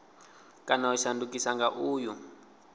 kana u shandukiswa nga uyu